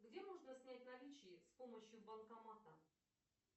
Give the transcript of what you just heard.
где можно снять наличные с помощью банкомата